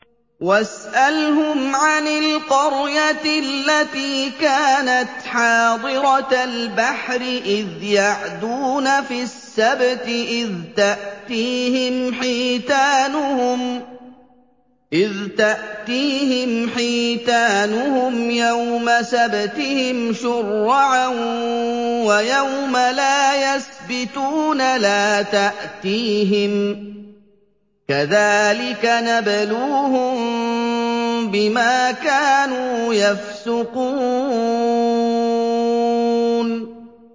وَاسْأَلْهُمْ عَنِ الْقَرْيَةِ الَّتِي كَانَتْ حَاضِرَةَ الْبَحْرِ إِذْ يَعْدُونَ فِي السَّبْتِ إِذْ تَأْتِيهِمْ حِيتَانُهُمْ يَوْمَ سَبْتِهِمْ شُرَّعًا وَيَوْمَ لَا يَسْبِتُونَ ۙ لَا تَأْتِيهِمْ ۚ كَذَٰلِكَ نَبْلُوهُم بِمَا كَانُوا يَفْسُقُونَ